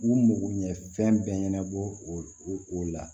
U mago ɲɛ fɛn bɛɛ ɲɛnabɔ o la